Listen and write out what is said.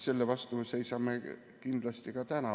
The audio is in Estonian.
Selle vastu me seisame kindlasti ka täna.